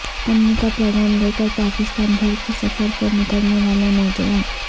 امن کا پیغام لے کر پاکستان بھر کے سفر پر نکلنے والا نوجوان